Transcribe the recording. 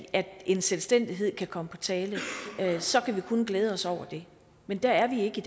at en selvstændighed kan komme på tale så kan vi kun glæde os over det men der er vi ikke